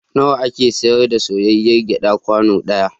Nawa ake sayar da soyayyr gyaɗa kwano ɗaya?